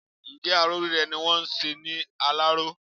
Ǹjẹ́ aró rírẹ́ ni wọ́n ń ṣe ní Aláró?